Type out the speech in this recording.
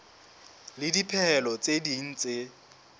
le dipehelo tse ding tse